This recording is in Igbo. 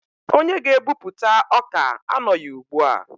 Onye ga-ebupụta ọka anọghị ugbu a.